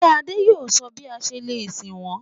Ṣé Àdé yóò sọ bí a ṣe lè sin wọ́n?